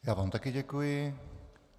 Já vám také děkuji.